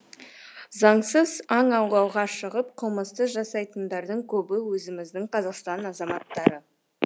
заңсыз аң аулауға шығып қылмысты жасайтындардың көбі өзіміздің қазақстан азаматтары